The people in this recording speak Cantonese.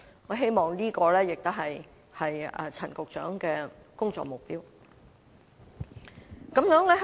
我希望這亦是陳局長的工作目標。